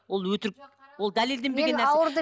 ол өтірік ол дәлелденбеген